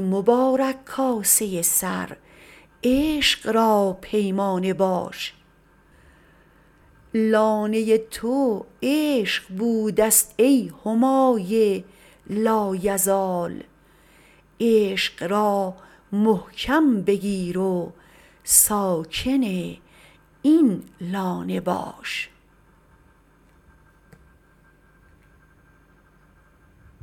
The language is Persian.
مبارک کاسه سر عشق را پیمانه باش لانه تو عشق بودست ای همای لایزال عشق را محکم بگیر و ساکن این لانه باش